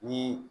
Ni